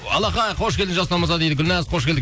алақай қош келдіңіз жасұлан мырза дейді гүлназ қош келдік